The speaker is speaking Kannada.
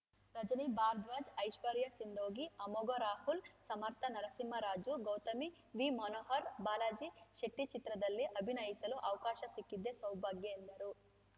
ರಜನಿ ಭಾರದ್ವಾಜ್‌ ಐಶ್ವರ್ಯ ಸಿಂದೋಗಿ ಅಮೋಘ್‌ ರಾಹುಲ್‌ ಸಮಥ್‌ರ್‍ ನರಸಿಂಹರಾಜು ಗೌತಮ್‌ ವಿ ಮಹೋಹರ್‌ ಬಾಲಾಜಿ ಶೆಟ್ಟಿಚಿತ್ರದಲ್ಲಿ ಅಭಿನಯಿಸಲು ಅವಕಾಶ ಸಿಕ್ಕಿದ್ದೇ ಸೌಭಾಗ್ಯ ಎಂದರು